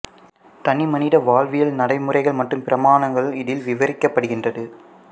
தனி மனித வாழ்வியல் நடைமுறைகள் மற்றும் பிரமாணங்கள் இதில் விவரிக்கப்படுகின்றது